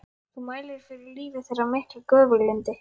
Þú mælir fyrir lífi þeirra af miklu göfuglyndi.